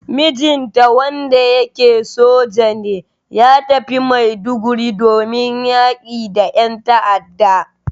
Mijinta wanda yake soja ne, ya tafi Maiduguri domin yaƙi da yan ta'ada.